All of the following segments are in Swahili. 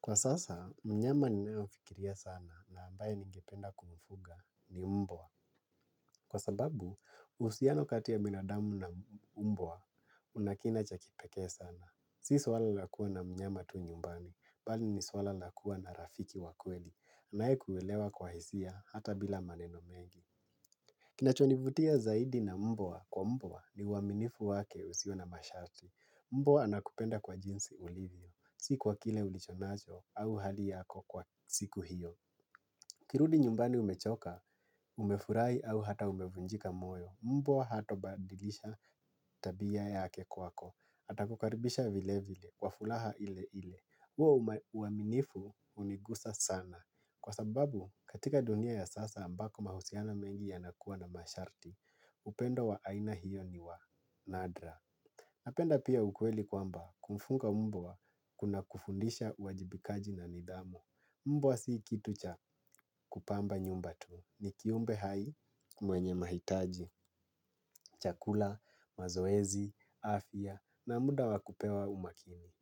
Kwa sasa, mnyama ninayofikiria sana na ambaye ningependa kumufuga ni mbwa. Kwa sababu, uhusiano kati ya binadamu na mbwa una kina cha kipekee sana. Si swala la kuwa na mnyama tu nyumbani, bali ni swala la kuwa na rafiki wa kweli. Anayekuelewa kwa hisia hata bila maneno mengi. Kinachonivutia zaidi na mbwa kwa mbwa ni uwaminifu wake usio na mashati. Mbwa anakupenda kwa jinsi ulivyo, si kwa kile ulichonacho au hali yako kwa siku hiyo. Ukirudi nyumbani umechoka, umefurahi au hata umevunjika moyo mbwa hatobadilisha tabia yake kwako atakukaribisha vile vile, kwa furaha ile ile. Huo uaminifu hunigusa sana. Kwa sababu katika dunia ya sasa ambako mahusiana mengi yanakuwa na masharti. Upendo wa aina hiyo ni wa nadra. Napenda pia ukweli kwamba kumfuga mbwa kunakufundisha uwajibikaji na nidhamu. Mbwa si kitu cha kupamba nyumba tu ni kiumbe hai mwenye mahitaji, chakula, mazoezi, afya na muda wa kupewa umakini.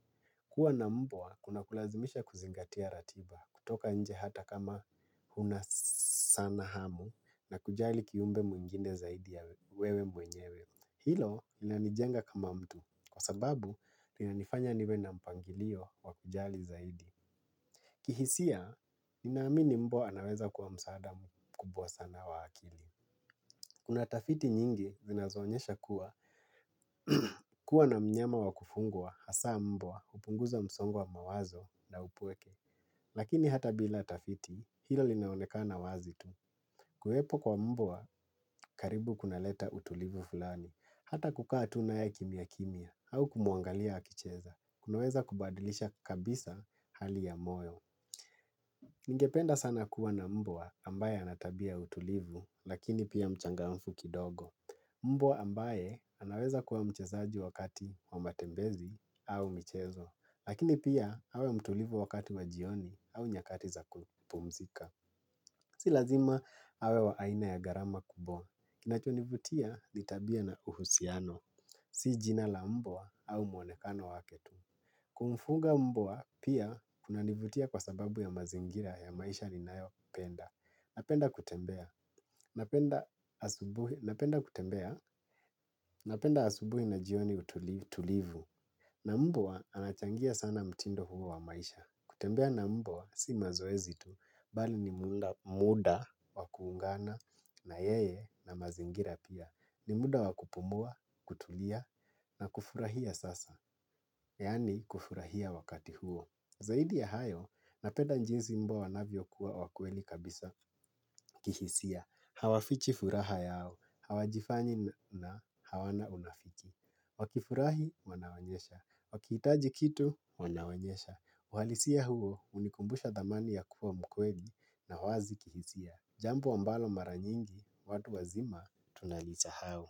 Kuwa na mbwa kunakulazimisha kuzingatia ratiba, kutoka nje hata kama huna sana hamu na kujali kiumbe mwingine zaidi ya wewe mwenyewe. Hilo linanijenga kama mtu, kwa sababu linanifanya niwe na mpangilio wa kujali zaidi. Kihisia, ninaamini mbwa anaweza kuwa msaada mkubwa sana wa akili. Kuna tafiti nyingi, zinazoonyesha kuwa, kuwa na mnyama wa kufugwa, hasaa mbwa, hupunguza msongo wa mawazo na upweke. Lakini hata bila tafiti, hilo linaonekana wazi tu. Kuwepo kwa mbwa, karibu kunaleta utulivu fulani, hata kukaa tu naye kimya kimya. Au kumuangalia akicheza. Kunaweza kubadilisha kabisa hali ya moyo. Ningependa sana kuwa na mbwa ambaye ana tabia ya utulivu, lakini pia mchangafu kidogo. Mbwa ambaye anaweza kuwa mchezaji wa kati wa matembezi au mchezo, lakini pia awe mtulivu wakati wa jioni au nyakati za kupumzika. Si lazima awe wa aina ya gharama kubwa. Kinachonivutia ni tabia na uhusiano. Si jina la mbwa au mwonekano waketu. Kumfuga mbwa pia kunanivutia kwa sababu ya mazingira ya maisha ninayopenda. Napenda kutembea. Napenda kutembea. Napenda asubuhi na jioni tulivu. Na mbwa anachangia sana mtindo huo wa maisha. Kutembea na mbwa si mazoezi tu bali ni muda wa kuungana na yeye na mazingira pia. Ni muda wa kupumua, kutulia na kufurahia sasa. Yaani kufurahia wakati huo. Zaidi ya hayo napenda jinsi mbwa wanavyokuwa wa kweli kabisa kihisia. Hawafichi furaha yao, hawajifanyi na hawana unafiki. Wakifurahi wanaonyesha, wakihitaji kitu wanaonyesha. Uhalisia huo hunikumbusha dhamani ya kuwa mkweli na wazi kihisia. Jambo ambalo mara nyingi, watu wazima tunalisahau.